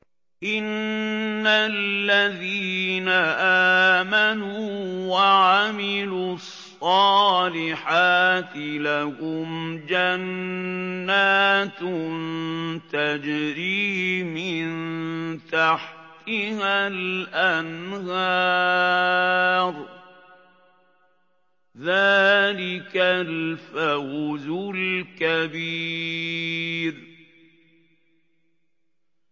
إِنَّ الَّذِينَ آمَنُوا وَعَمِلُوا الصَّالِحَاتِ لَهُمْ جَنَّاتٌ تَجْرِي مِن تَحْتِهَا الْأَنْهَارُ ۚ ذَٰلِكَ الْفَوْزُ الْكَبِيرُ